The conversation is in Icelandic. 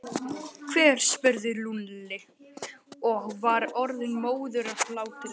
Hver? spurði Lúlli og var orðinn móður af hlátri.